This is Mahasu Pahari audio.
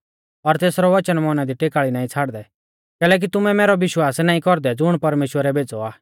और तेसरौ वचन मौना दी टेकाल़ी नाईं छ़ाड़दै कैलैकि तुमै मैरौ विश्वास नाईं कौरदै ज़ुण परमेश्‍वरै भेज़ौ आ